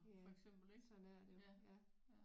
Ja sådan er det jo ja